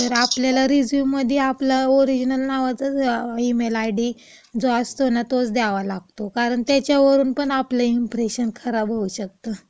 तर आपल्याला रेझ्यूममध्ये आपल्या ओरिजिनल नावाचाच ईमेल आयडी जो असतो ना, तोच द्यावा लागतो. कारण त्याच्यावर आपलं इंप्रेशन खराब होऊ शकतं.